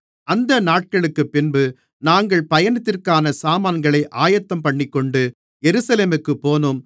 அந்த நாட்களுக்குப்பின்பு நாங்கள் பயணத்திற்கான சாமான்களை ஆயத்தம்பண்ணிக்கொண்டு எருசலேமுக்குப் போனோம்